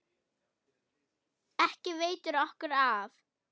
Ekki veitir okkur af.